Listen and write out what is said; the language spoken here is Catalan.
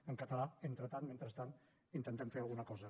i en català entretant mentrestant intentem fer alguna cosa